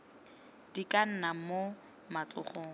di ka nna mo matsogong